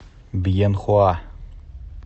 бьенхоа